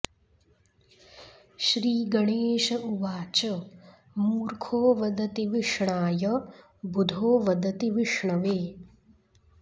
श्रीगणेश उवाच मूर्खो वदति विष्णाय बुधो वदति विष्णवे